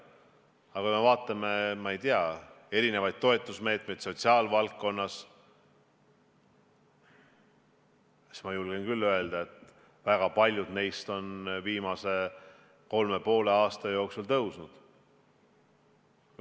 Aga kui me vaatame, ma ei tea, erinevaid toetusmeetmeid sotsiaalvaldkonnas, siis ma julgen küll öelda, et väga paljud neist on viimase kolme ja poole aasta jooksul suurenenud.